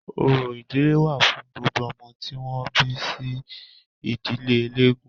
Orò ìdílé wà fún gbogbo ọmọ tí wọ́n bí sí ìdílé elégún.